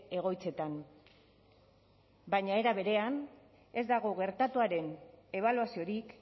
egoitzetan baina era berean ez dago gertatuaren ebaluaziorik